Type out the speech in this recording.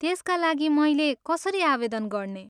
त्यसका लागि मैले कसरी आवेदन गर्ने?